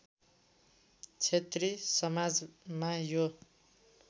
क्षेत्री समाजमा यो